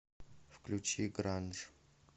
включи гранж